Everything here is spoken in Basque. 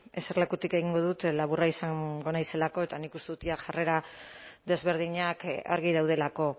eserlekutik egingo dut laburra izango naizelako eta nik uste dut jada jarrera desberdinak argi daudelako